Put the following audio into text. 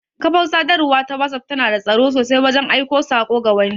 Ƙafar Sadarwa ta whatsapp tana da tsaro sosai wajan aiko sako ga wani